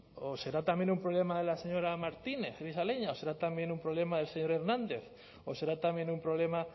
o será también un problema de la señora martínez grisaleña o será también un problema del señor hernández o será también un problema